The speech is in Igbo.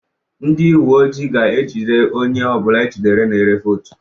Ndị uwe ojii ga-ejide onye ọ bụla ejidere na-ere vootu